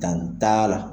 Danni da la